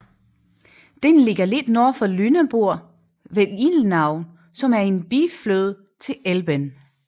Den ligger lidt nord for Lüneburg ved Ilmenau som er en biflod til Elben